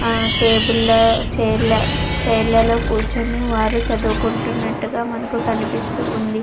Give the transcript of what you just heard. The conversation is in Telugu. ఆ టేబుల్ లో చైర్ లో చైర్ లలో కూర్చుని వారు చదువుకుంటున్నట్టు మనకి కనిపిస్తూ ఉంది.